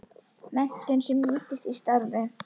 Menntun sem nýtist í starfi